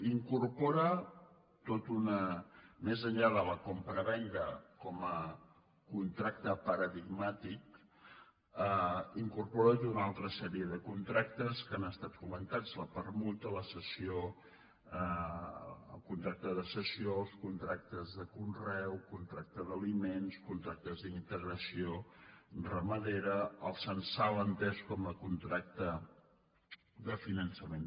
i incorpora més enllà de la compravenda com a contracte paradigmàtic tota una altra sèrie de contractes que han estat comentats la permuta el contracte de cessió els contractes de conreu contracte d’aliments contractes d’integració ramadera el censal entès com a contracte de finançament